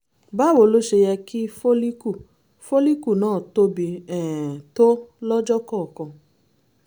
báwo ló ṣe yẹ kí fólíkù fólíkù náà tóbi um tó lọ́jọ́ kọ̀ọ̀kan?